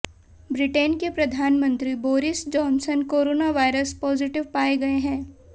Britain के प्रधानमंत्री Boris Johnson corona virus positive पाए गए हैं